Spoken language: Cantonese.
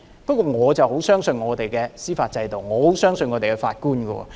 不過，我很相信我們的司法制度，很相信我們的法官。